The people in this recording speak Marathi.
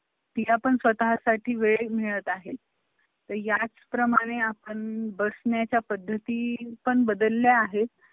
अठ्ठावीस फेब्रुवारी एकोणीसशे नऊ रोजी न्यूयॉर्क ला पहिला जागतिक महिला दिन साजरा करण्यात आला होता तरी सुद्धा सण एकोणीसशे दहा मध्ये अं आंतरराष्ट्रीय महिला परिषद झाली